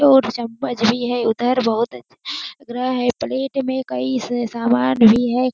और चम्मच भी है उधर बहोत अच्छा लग रहा है प्लेट में कई स सामान भी है।